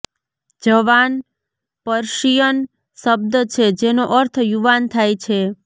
જવાન Persian શબ્દ છે જેનો અર્થ યુવાન થાય છે